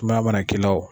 Sumaya mana k'i la o